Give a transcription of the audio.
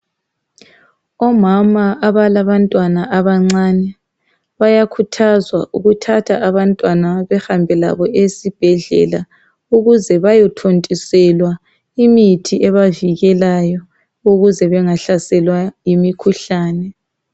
Omama abalabantwana abancane bayakhuthazwa ukuthatha abantwana behambe labo esibhedlela ukuze bayothontiselwa imithi ebavikelayo ukuze bengahlaselwa yimikhuhlane.